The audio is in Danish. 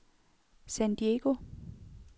San Diego